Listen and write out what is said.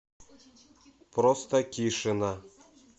простакишина